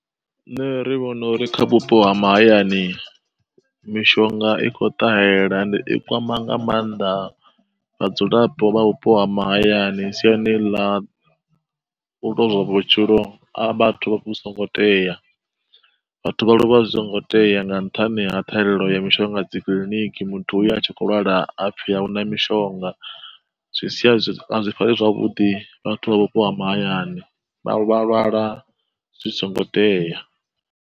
Nṋe ri vhona uri kha vhupo ha mahayani mishonga i kho ṱahela ende i kwama nga mannḓa vhadzulapo vha vhupo ha mahayani siani ḽa u lozwa vhutshilo a vhathu zwi songo tea vhathu vha lovha zwi songo tea nga nṱhani ha ṱhahelelo ya mishonga dzi kiḽiniki muthu uya a tshi kho lwala ha pfhi ahuna mishonga zwi sia zwi si zwavhuḓi kha vhathu vha vhupo ha mahayani vha lwala zwi songo tea.